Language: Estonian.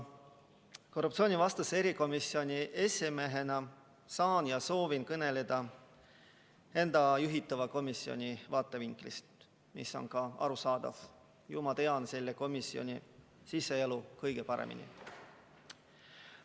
Korruptsioonivastase erikomisjoni esimehena saan ja soovin kõneleda enda juhitava komisjoni vaatevinklist, mis on ka arusaadav, sest ju ma tean selle komisjoni siseelu kõige paremini.